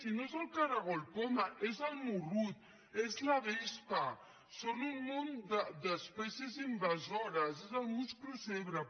i no és el caragol poma és el morrut és la vespa són un munt d’espècies invasores és el musclo zebrat